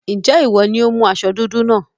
Ǹjẹ́ ìwọ ni ó mú aṣọ dúdú náà?